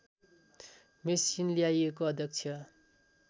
machine ल्याइएको अध्यक्ष